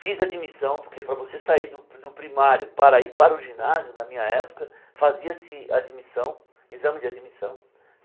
Fiz admissão, porque para você sair do do primário para ir para o ginásio, na minha época, fazia-se admissão, exame de admissão.